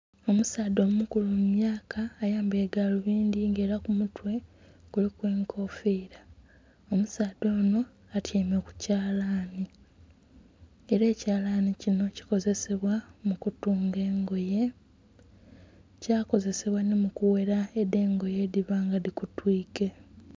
Omusaadha omukulu mu myaka ayambaire galubindhi nga era ku mutwe kuliku enkofira omusaadha onho atyaime ku kyalani era ekyalani kinho kikozesebwa mu kutunga engoye kya kozesebwa nhiu kughera edho engoye edhiba nga dhi kutwike